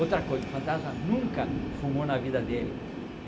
Outra coisa, o fantasma nunca fumou na vida dele.